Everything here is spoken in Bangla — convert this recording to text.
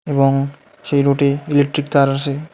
এবং সেই রোডে ইলেকট্রিক তার আসে।